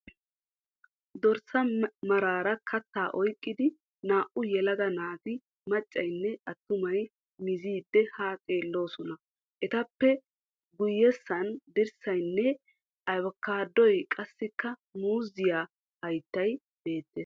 Dorssaa maraara kattaa oykkidi naa"u yelaga naati maccayinne attumay miziiddi haa xeelloosona. Etappe guyyessan dirssaynne abkaadoy qassikka muuziyaa hayttay beettees.